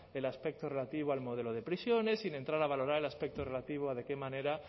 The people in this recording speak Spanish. el aspecto relativo al modelo de prisiones sin entrar a valorar el aspecto relativo a de qué manera